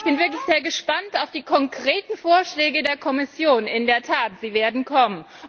Und ich bin wirklich sehr gespannt auf die konkreten Vorschläge der Kommission, in der Tat, sie werden kommen.